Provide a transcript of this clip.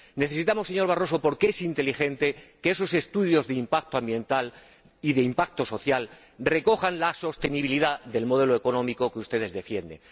Necesitamos, señor Barroso —porque es inteligente—, que esos estudios de impacto ambiental y de impacto social recojan la sostenibilidad del modelo económico que ustedes defienden.